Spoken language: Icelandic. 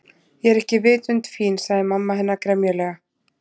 Ég er ekki vitund fín- sagði mamma hennar gremjulega.